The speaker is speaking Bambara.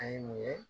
An ye mun ye